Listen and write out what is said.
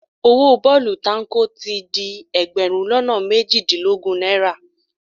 Owó bọ́ọ̀lù táǹkò ti di ẹgbẹ̀rún lọ́nà méjìdínlógún náírà